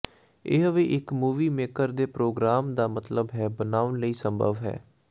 ਇਹ ਵੀ ਇੱਕ ਮੂਵੀ ਮੇਕਰ ਦੇ ਪ੍ਰੋਗਰਾਮ ਦਾ ਮਤਲਬ ਹੈ ਬਣਾਉਣ ਲਈ ਸੰਭਵ ਹੈ